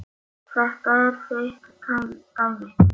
Þetta er þitt dæmi.